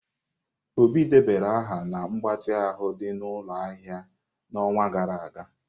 Obi debara aha na mgbatị ahụ dị n'ụlọ ahịa ahịa n'ọnwa gara aga.